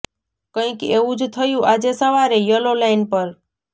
કંઇક એવુ જ થયુ આજે સવારે યલો લાઇન પર